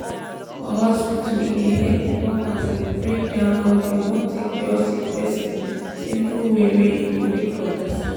for hospital e dey help if workers dey break down how dey wan take cure sick person simple way wey e go quick understand